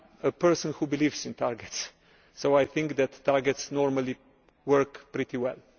I am a person who believes in targets so I think that targets normally work pretty well.